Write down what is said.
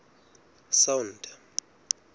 sound